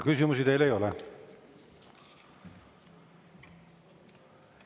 Küsimusi teile ei ole.